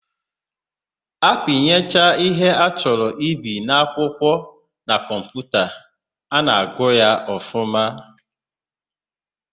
A pinyecha ihe a chọrọ ibi n'akwụkwọ na kọmputa, a na-agụ ya ọfụma.